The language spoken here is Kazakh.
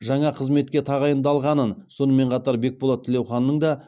жаңа қызметке тағайындалғанын сонымен қатар бекболат тілеуханның да